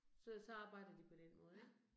Så så arbejder de på den måde ik